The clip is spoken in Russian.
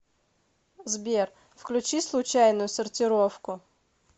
сбер включи случайную сортировку